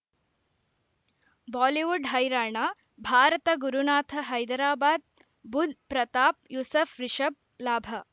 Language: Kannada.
ಬಾಲಿವುಡ್ ಹೈರಾಣ ಭಾರತ ಗುರುನಾಥ ಹೈದರಾಬಾದ್ ಬುಧ್ ಪ್ರತಾಪ್ ಯೂಸುಫ್ ರಿಷಬ್ ಲಾಭ